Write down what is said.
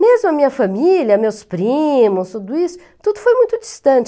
Mesmo a minha família, meus primos, tudo isso, tudo foi muito distante.